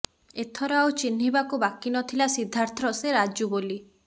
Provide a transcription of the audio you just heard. ଏଥର ଆଉ ଚିହ୍ନିବାକୁ ବାକି ନଥିଲା ସିଦ୍ଧାର୍ଥର ସେ ରାଜୁ ବୋଲି